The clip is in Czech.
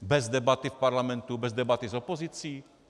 Bez debaty v Parlamentu, bez debaty s opozicí?